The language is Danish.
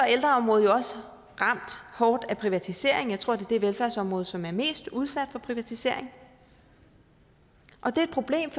ældreområdet jo også ramt hårdt af privatisering jeg tror det er det velfærdsområde som er mest udsat for privatisering og det er et problem